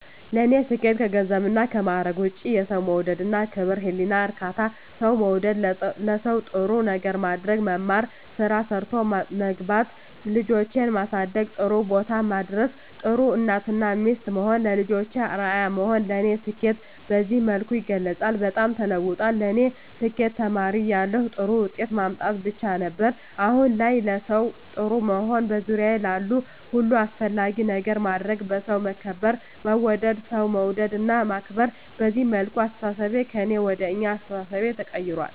ለኔ ስኬት ከገንዘብና ከማረግ ውጭ፦ የሠው መውደድ እና ክብር፤ የህሊና እርካታ፤ ሠው መውደድ፤ ለሠው ጥሩ ነገር ማድረግ፤ መማር፤ ስራ ሠርቶ መግባት፤ ልጆቼን ማሠደግ ጥሩቦታ ማድረስ፤ ጥሩ እናት እና ሚስት መሆን፤ ለልጆቼ አርያ መሆን ለኔ ስኬትን በዚህ መልኩ እገልፀዋለሁ። በጣም ተለውጧል ለኔ ስኬት ተማሪ እያለሁ ጥሩ ውጤት ማምጣት ብቻ ነበር። አሁን ላይ ለሠው ጥሩ መሆን፤ በዙሪያዬ ላሉ ሁሉ አስፈላጊ ነገር ማድረግ፤ በሠው መከበር መወደድ፤ ሠው መውደድ እና ማክበር፤ በዚህ መልኩ አስተሣሠቤ ከእኔ ወደ አኛ አስተሣሠቤ ተቀይራል።